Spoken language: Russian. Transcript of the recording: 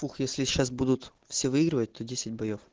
пух если сейчас будут все выигрывать то десять боев